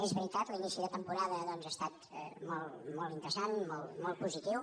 és veritat l’inici de temporada doncs ha estat molt interessant molt positiu